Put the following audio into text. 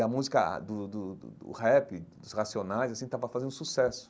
E a música do do do do rap, dos Racionais, assim, estava fazendo sucesso.